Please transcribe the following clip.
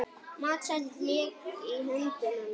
Matseld lék í höndum hennar.